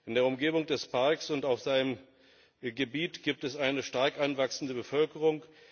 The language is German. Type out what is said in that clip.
In der Umgebung des Parks und auf seinem Gebiet gibt es eine stark anwachsende Bevölkerung.